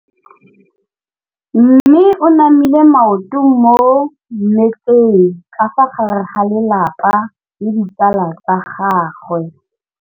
Mme o namile maoto mo mmetseng ka fa gare ga lelapa le ditsala tsa gagwe.